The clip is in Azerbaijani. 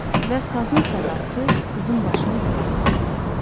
Və sazın sədası qızın başını yuxarı qaldırdı.